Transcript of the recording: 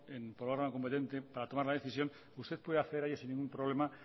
en la plataforma competente para tomar una decisión usted puede acceder a ello sin ningún problema